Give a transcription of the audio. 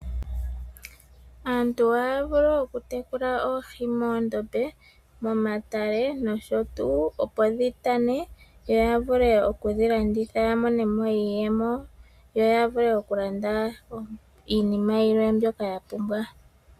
Aantu ohaa vulu okutekula oohi moondombe momatale oshowo tuu opo dhu tane yo ya vule okudhi landitha ya mone mo iiyemo yo ya vule okulanda iinima yimwe mbyoka ya pumbwa .